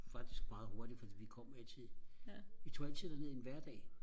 faktisk meget hurtigt fordi vi kom altid vi tog altid derned en hverdag